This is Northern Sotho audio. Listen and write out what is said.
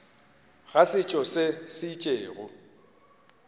ga setšo se se itšego